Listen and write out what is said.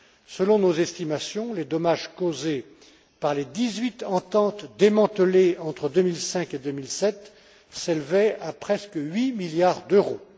Selon nos estimations, les dommages causés par les dix huit ententes démantelées entre 2005 et 2007 s'élevaient à presque huit milliards d'euros.